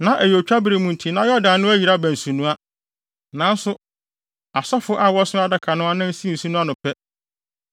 Na ɛyɛ otwabere mu nti na Yordan no ayiri aba nsunoa. Nanso, asɔfo a wɔso Adaka no anan sii nsu no ano pɛ,